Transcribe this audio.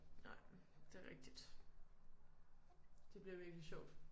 Nej det rigtigt. Det bliver virkelig sjovt